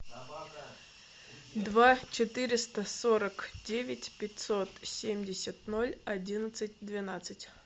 два четыреста сорок девять пятьсот семьдесят ноль одиннадцать двенадцать